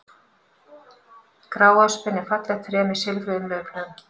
Gráöspin er fallegt tré með silfruðum laufblöðum.